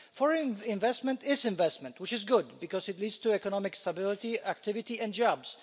Foreign investment is investment which is good because it leads to economic stability, activity and jobs.